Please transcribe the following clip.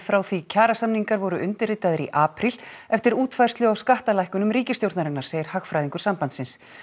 frá því kjarasamningar voru undirritaðir í apríl eftir útfærslu á skattalækkunum ríkisstjórnarinnar segir hagfræðingur sambandsins